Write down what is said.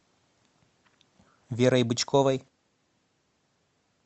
верой бычковой